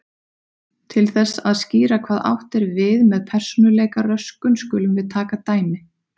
Til þess að skýra hvað átt er við með persónuleikaröskun skulum við taka dæmi.